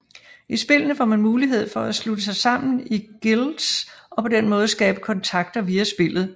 I spillene får man mulighed for at slutte sig sammen i guilds og på den måde skabe kontakter via spillet